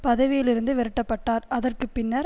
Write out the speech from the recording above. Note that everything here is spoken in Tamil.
பதவியில் இருந்து விரட்டப்பட்டார் அதற்கு பின்னர்